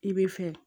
I bɛ fɛ